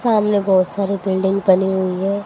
सामने बहुत सारी बिल्डिंग बनी हुई है।